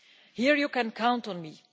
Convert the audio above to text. Here you can count on